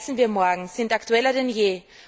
und Wie heizen wir morgen? sind aktueller denn